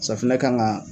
Safunɛ kan ka